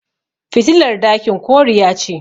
fitilar dakin koriya ce